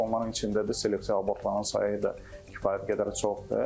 Onların içində də selektiv abortların sayı da kifayət qədər çoxdur.